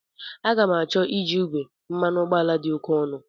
Aga ga-m acho iji igwe, mmanụ ụgbọala dị oke ọnụ.